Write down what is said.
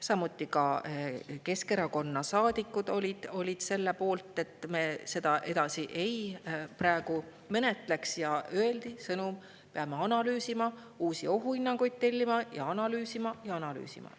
Samuti olid Keskerakonna saadikud selle poolt, et me seda praegu edasi ei menetleks, ja öeldi sõnum: peame analüüsima, uusi ohuhinnanguid tellima, analüüsima ja analüüsima.